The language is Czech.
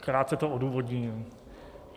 Krátce to odůvodním.